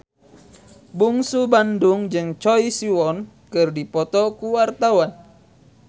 Bungsu Bandung jeung Choi Siwon keur dipoto ku wartawan